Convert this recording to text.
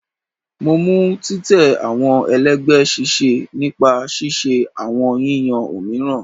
Mo mu titẹ awọn ẹlẹgbẹ ṣiṣẹ nipa ṣiṣe awọn yiyan ominira